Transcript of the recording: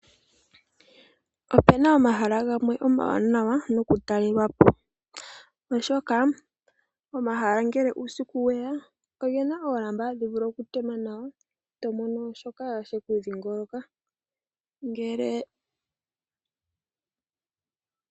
Opu na omahala gamwe omawanawa nokutalelwa po oshoka omahala ngele uusiku weya oge na oolamba ha dhi vulu okutema nawa. To mono shoka she ku dhingoloka.